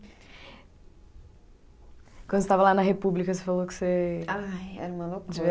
Quando você estava lá na República, você falou que você. Ai, era uma loucura.